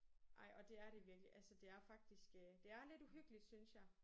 Ej og det er det virkelig. Altså det er faktisk øh det er lidt uhyggeligt synes jeg